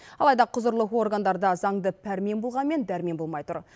алайда құзырлы органдарда заңды пәрмен болғанмен дәрмен болмай тұр